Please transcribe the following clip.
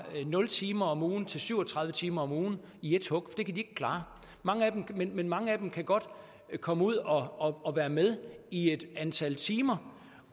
nul timer om ugen til syv og tredive timer om ugen i et hug det kan de ikke klare men mange af dem kan godt komme ud og og være med i et antal timer